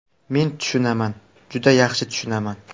Men tushunaman, juda yaxshi tushunaman.